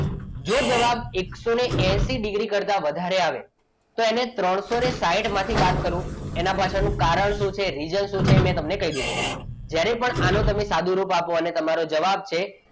જો જવાબ એકસો એસી ડીગ્રી કરતા વધારે આવે તો તેને ત્રણસો ને સાઈઠ માંથી બાદ કરો એના પાછળનું કારણ શું છે રીઝન શું છે એ મેં તમને કહી દીધું જ્યારે પણ તમે આનું સાદુ રૂપ આપો અને તમારો જવાબ છે,